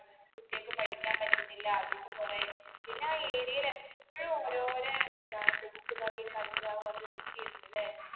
കുട്ടിയക്ക് പഠിക്കാൻ പറ്റുന്നില്ല അതിന് കുറെ പിന്നെ ആ area ൽ എപ്പൊഴും ഓരോരോ ഇതാന്ന് പിടിച്ചുപറി കഞ്ചാവ് അത്‌ ഇതൊക്കെയായിരുന്നല്ലേ